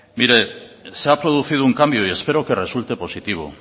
mire se ha producido un cambio y espero que resulte positivo